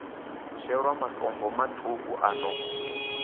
shelwa matombo maṱuku a no